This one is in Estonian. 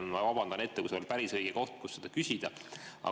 Ma vabandan ette, kui see ei ole päris õige koht, kus seda küsida.